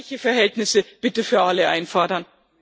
Gleiche Verhältnisse bitte für alle einfordern.